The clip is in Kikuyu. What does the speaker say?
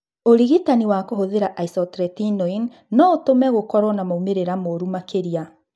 Ũrigitani wa kũhũthĩra isotretinoin no ũtũme gũkorũo na moimĩrĩra moru makĩria.